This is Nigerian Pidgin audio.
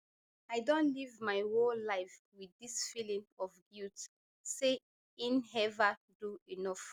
i don live my whole life wit dis feeling of guilt say inever do enough